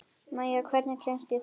Maya, hvernig kemst ég þangað?